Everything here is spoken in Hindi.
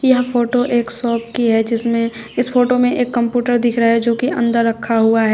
यह फोटो एक शॉप की है जिसमें इस फोटो में एक कंप्यूटर दिख रहा है जो कि अंदर रखा हुआ है।